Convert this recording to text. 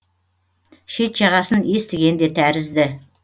шет жағасын естіген де тәрізді